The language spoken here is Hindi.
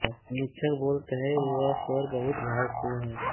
समिक्षक बोल्त है व्ह स्वर बहुत भावपूर्ण है